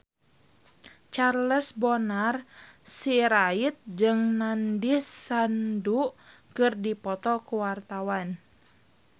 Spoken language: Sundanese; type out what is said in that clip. Charles Bonar Sirait jeung Nandish Sandhu keur dipoto ku wartawan